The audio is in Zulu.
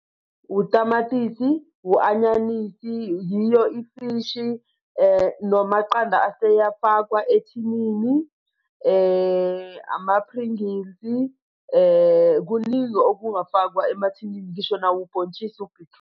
Utamatisi u-anyanisi yiyo ifishi namaqanda aseyafakwa ethinini ama-Pringles kuningi okungafakwa emathinini, ngisho nawo ubhontshisi u-betroot.